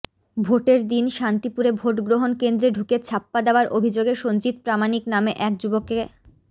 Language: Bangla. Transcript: ভোটের দিন শান্তিপুরে ভোট গ্রহণ কেন্দ্রে ঢুকে ছাপ্পা দেওয়ার অভিযোগে সঞ্জিত প্রামাণিক নামে এক যুবককে